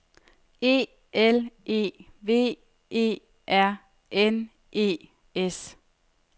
E L E V E R N E S